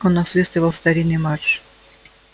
он насвистывал старинный марш